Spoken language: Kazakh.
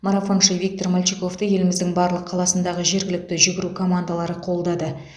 марафоншы виктор мальчиковты еліміздің барлық қаласындағы жергілікті жүгіру командалары қолдады